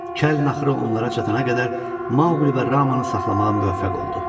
Kəl naxırı onlara çatana qədər Maquli və Ramanı saxlamağa müvəffəq oldu.